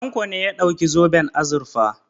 Tanko ne ya ɗauki zoben azurfa.